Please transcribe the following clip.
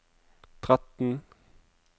tretten